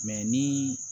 ni